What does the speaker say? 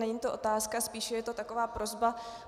Není to otázka, spíše je to taková prosba.